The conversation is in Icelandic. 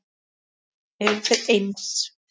Eru þeir eins?